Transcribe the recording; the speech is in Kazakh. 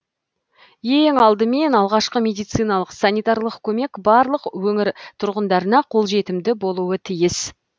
ең алдымен алғашқы медициналық санитарлық көмек барлық өңір тұрғындарына қолжетімді болуы тиіс